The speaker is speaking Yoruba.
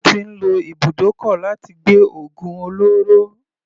Wọ́n ti ń lo ibùdókọ̀ láti gbé ògùn olóró.